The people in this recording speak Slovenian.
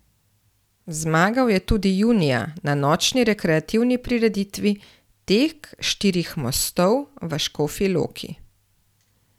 Zmagal je tudi junija, na nočni rekreativni prireditvi Tek štirih mostov v Škofji Loki.